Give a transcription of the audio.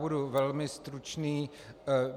Budu velmi stručný.